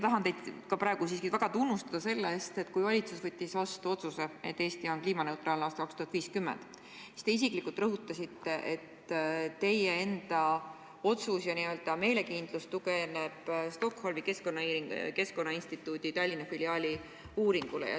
Ma kõigepealt tahtsin teid väga tunnustada selle eest, et kui valitsus võttis vastu otsuse, et Eesti on kliimaneutraalne aastaks 2050, siis te isiklikult rõhutasite, et teie enda n-ö meelekindlus tugineb Stockholmi Keskkonnainstituudi Tallinna filiaali uuringule.